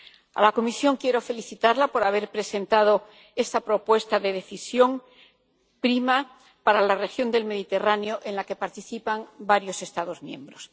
A la Comisión quiero felicitarla por haber presentado esta propuesta de Decisión sobre la asociación PRIMA para la región del Mediterráneo, en la que participan varios Estados miembros.